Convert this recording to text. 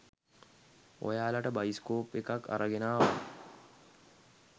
ඔයාලට බයිස්කෝප් එකක් අරගෙන ආවා.